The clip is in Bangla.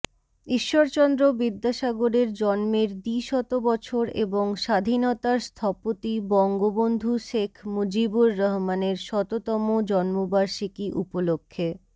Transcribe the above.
ঈশ্বরচন্দ্র বিদ্যাসাগরের জন্মের দ্বিশতবছর এবং স্বাধীনতার স্থপতি বঙ্গবন্ধু শেখ মুজিবুর রহমানের শততম জন্মবার্ষিকী উপলক্ষে